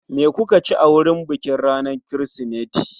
Me kuka ci a wurin bikin ranar Kirsimeti?